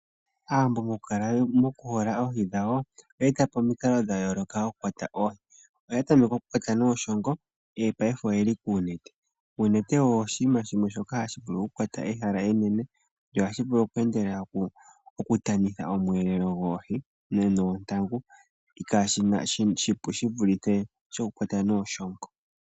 Aawambo mokuhola oohi dhawo, oye eta po omikalo dha yooloka dhokukwata oohi. Oya tameke okukwata niishongo, ihe paife oye li koonete. Oonete odho oshinima shimwe shoka hashi vulu okukwata ehala enene, sho ohashi vulu oku endelela okutanitha omweelewa goohi noontangu. Oshipu shi vulithe okukwata niishongo.